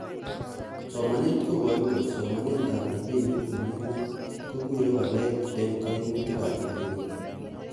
Somanet koboru kole somanetab rabinik nemi gwony, ko koree waleet en koimutigab rabinik.